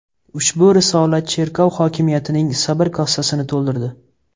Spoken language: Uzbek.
Ushbu risola cherkov hokimiyatining sabr kosasini to‘ldirdi.